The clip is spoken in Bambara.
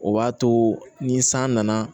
O b'a to ni san nana